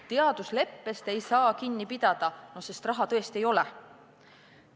Teadusleppest ei saa kinni pidada, sest raha tõesti ei ole!